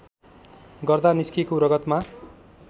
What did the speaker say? गर्दा निस्केको रगतमा